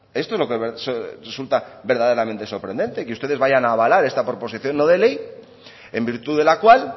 esto es lo que resulta verdaderamente sorprendente que ustedes vayan avalar esta proposición no de ley en virtud de la cual